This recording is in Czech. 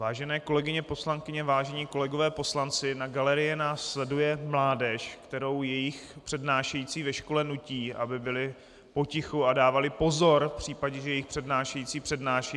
Vážené kolegyně poslankyně, vážení kolegové poslanci, na galerii nás sleduje mládež, kterou jejich přednášející ve škole nutí, aby byli potichu a dávali pozor v případě, že jejich přednášející přednáší.